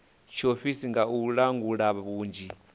tshiofisi nga u langula vhunzhi